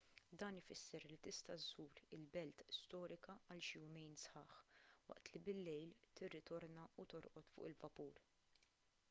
dan ifisser li tista' żżur il-belt storika għal xi jumejn sħaħ waqt li billejl tirritorna u torqod fuq il-vapur